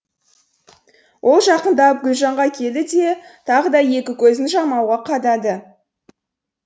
ол жақындап гүлжанға келді де тағы да екі көзін жамауға қадады